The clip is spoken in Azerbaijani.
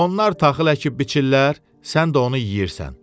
Onlar taxıl əkib biçirlər, sən də onu yeyirsən.